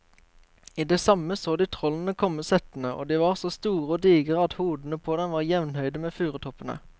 I det samme så de trollene komme settende, og de var så store og digre at hodene på dem var jevnhøye med furutoppene.